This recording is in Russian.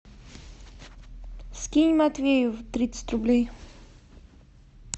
скинь матвею тридцать рублей